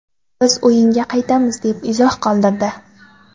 Biz o‘yinga qaytamiz”, deb izoh qoldirdi .